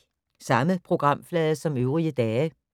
Samme programflade som øvrige dage